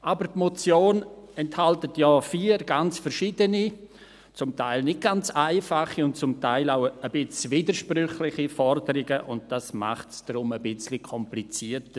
Aber die Motion enthält vier ganz verschiedene, zum Teil nicht ganz einfache und zum Teil auch etwas widersprüchliche Forderungen, und dies macht es für mich jetzt hier etwas komplizierter.